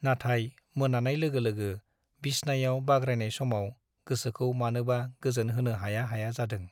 नाथाय मोनानाय लोगो लोगो बिसनायाव बाग्रायनाय समाव गोसोखौ मानोबा गोजोन होनो हाया हाया जादों ।